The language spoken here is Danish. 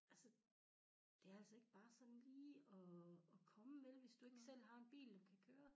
Altså det er altså ikke bare sådan lige at at komme vel hvis du ikke selv har en bil og kan køre